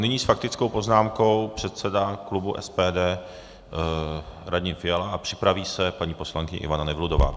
Nyní s faktickou poznámkou předseda klubu SPD Radim Fiala a připraví se paní poslankyně Ivana Nevludová.